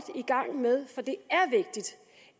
i gang med for det